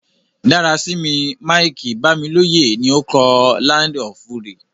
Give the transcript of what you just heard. Dárasími Mike-Bámilóyè ni o kọ "Land of Fury".